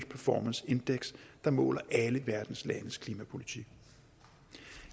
performance index der måler alle verdens landes klimapolitik